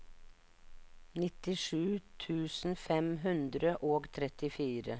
nittisju tusen fem hundre og trettifire